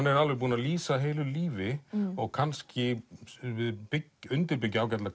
er alveg búinn að lýsa heilu lífi og kannski undirbyggja ágætlega